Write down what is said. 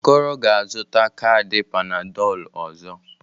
Okoro ga-azụta kaadị Panadolụ ọzọ.